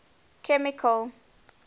chemical